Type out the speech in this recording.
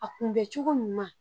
A kunbɛncogo ɲuman